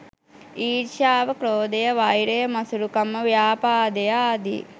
ඊර්ෂ්‍යාව, ක්‍රෝධය, වෛරය, මසුරුකම, ව්‍යාපාදය ආදී